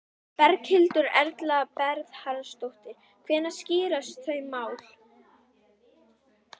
Berghildur Erla Bernharðsdóttir: Hvenær skýrast þau mál?